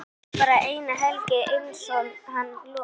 Var bara eina helgi einsog hann lofaði.